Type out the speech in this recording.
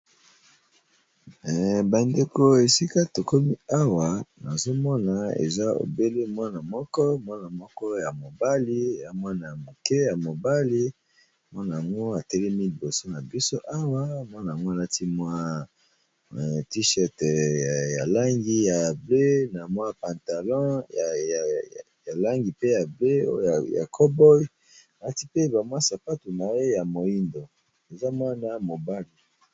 Bandeko esika tokomi Awa nazokomona Mwana moko ya mobali atelemi alati tir shert ya ba langi ya bonzinga na pantalon ya bonzinga pe na sapato ya moyindo.